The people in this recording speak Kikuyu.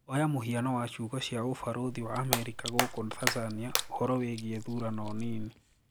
"Oya muhiano wa ciugo cia Ubalothi wa Amerika gukũ Tanzania uhoro wigie thurano nini."